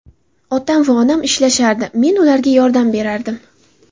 Otam va onam ishlashardi, men ularga yordam berardim.